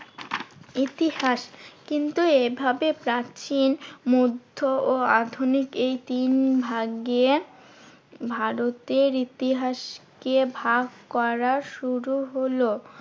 ইতিহাস। কিন্তু এভাবে প্রাচীন মধ্য ও আধুনিক এই তিন ভাগে ভারতের ইতিহাসকে ভাগ করা শুরু হলো